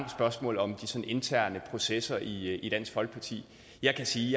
spørgsmål om de sådan interne processer i i dansk folkeparti jeg kan sige